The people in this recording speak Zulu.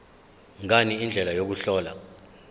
ngani indlela yokuhlola